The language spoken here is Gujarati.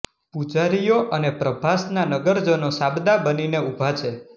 પુજારીઓ અને પ્રભાસના નગરજનો સાબદા બનીને ઊભા છે